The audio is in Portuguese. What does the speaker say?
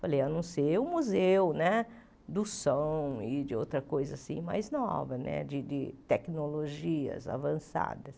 Falei, a não ser o museu né do som e de outra coisa mais nova né, de de tecnologias avançadas.